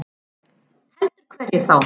Heldur hverjum þá?